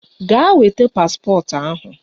Gaa weta paspọtụ ahụ